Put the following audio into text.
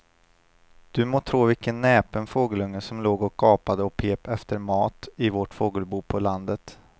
Du må tro vilken näpen fågelunge som låg och gapade och pep efter mat i vårt fågelbo på landet.